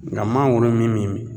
Ŋa mangoro min me min